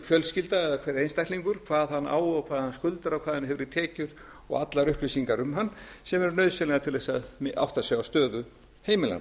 hvað hann á og hvað hann skuldar og hvað hann hefur í tekjur og allar upplýsingar um hann sem eru nauðsynlegar til þess að átta sig á stöðu heimilanna